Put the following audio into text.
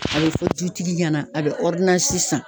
A bE fɔ dutigi ɲɛna, a be san.